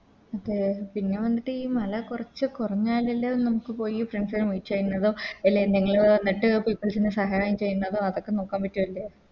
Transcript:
അതെ പിന്നെ വന്നിട്ട് ഈ മല കൊറച്ച് കൊറഞ്ഞാലല്ലേ എ നമുക്ക് പോയി Friends നെ Meet ചെയ്യുന്നതും അല്ലെ എന്തെങ്കിലോ എന്നിട്ട് Peoples നെ സഹായം ചെയ്യുന്നതോ അതൊക്കെ നോക്കാൻ പറ്റു അല്ലെ